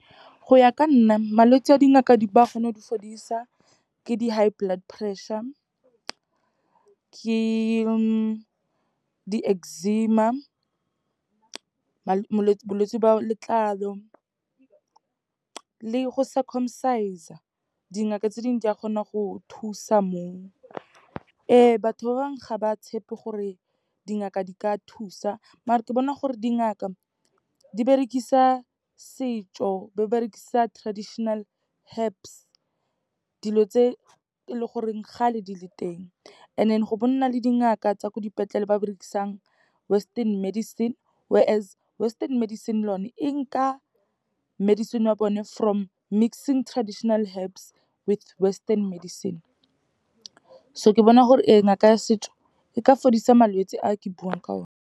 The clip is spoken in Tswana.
Go ya ka nna malwetse a dingaka di ba kgona go di fodisa, ke di-high blood pressure, ke di-eczema, bolwetse ba letlalo le go circumcise-a. Dingaka tse dingwe di a kgona go thusa moo. Ee, batho ba bangwe ga ba tshepe gore dingaka di ka thusa, maar-e ke bona gore dingaka di berekisa setso, ba berekisa traditional herbs. Dilo tse e leng gore kgale di le teng and then, be go nna le dingaka tsa ko dipetlele, ba berekisang western medicine, whereas western medicine lone e nka medicine wa bone from mixing traditional herbs, with western medicine. So ke bona gore ee, ngaka ya setso, e ka fodisa malwetse a ke buang ka one.